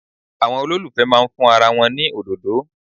Àwọn olólùfẹ́ máa fún ara wọn ní òdòdó.